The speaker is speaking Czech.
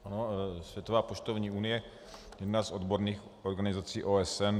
Ano, Světová poštovní unie, jedna z odborných organizací OSN.